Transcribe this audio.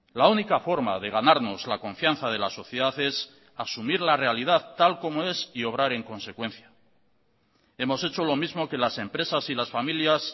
la única forma de ganarnos la confianza de la sociedad es asumir la realidad tal como es y obrar en consecuencia hemos hecho lo mismo que las empresas y las familias